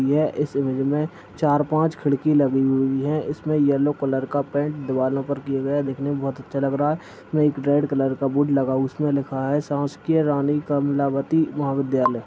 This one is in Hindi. हेय चार पाँच खिड़की लागी हुई है इसमे येल्लो कलर का पेंट दीवालों पे किया गया दिखने मे बहुत अच्छा लग रहा है इसमे एक रेड कलर का बोर्ड लागा उसमे लिखा है शासकीय रानी कमलावती महाविद्यालए। ]